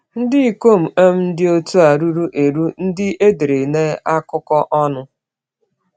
Ndị ikom um dị otu a ruru eru ndị edere na akụkọ ọnụ.